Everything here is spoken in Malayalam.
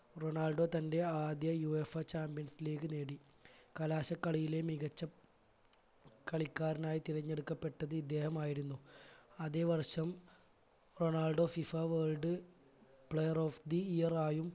റൊണാൾഡോ തന്റെ ആദ്യ UEFA champions league നേടി കലാശ കളിയിലെ മികച്ച കളിക്കാരനായി തിരഞ്ഞെടുക്കപ്പെട്ടത് ഇദ്ദേഹമായിരുന്നു അതേ വർഷം Ronaldo FIFA world player of the year ആയും